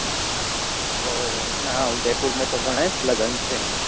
ઓહ નાં ઉદેપુર મેં તો ગણાય જ લગ્ન છે